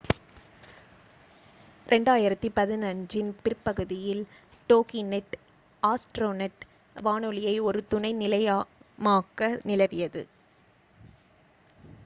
2015 இன் பிற்பகுதியில் Toginet Astronet வானொலியை ஒரு துணை நிலையமாக நிறுவியது